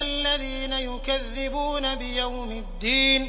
الَّذِينَ يُكَذِّبُونَ بِيَوْمِ الدِّينِ